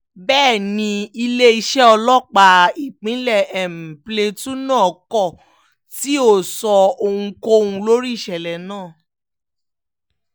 bẹ́ẹ̀ ni iléeṣẹ́ ọlọ́pàá ìpínlẹ̀ plateau náà kò tí ì sọ ohunkóhun lórí ìṣẹ̀lẹ̀ náà